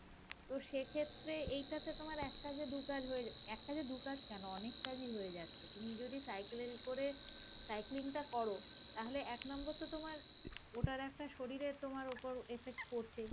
তো সেক্ষেত্রে এটাতে তোমার এক কাজে দুই কাজ হয়ে যাচ্~ এক কাজে দু কাজ কেন অনেক কাজেই হয়ে যাচ্ছে তুমি যদি cycle করে cycling টা করো তাহলে এক number তো তোমার ওটার একটা শরীরে তোমার ওপরে, effect পড়ছে